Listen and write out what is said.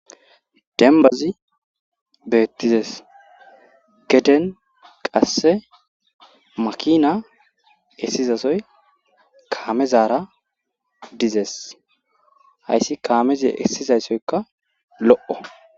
denbazi beettizes geden qasse makina essizazoy kaamezara dizees hayssi kaameze essizayssoyka lo7o